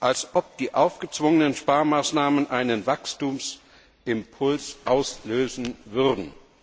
Als ob die aufgezwungenen Sparmaßnahmen einen Wachstumsimpuls auslösen würden!